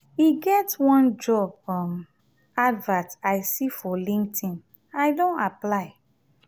e get one job um advert i see for linkedin i don apply.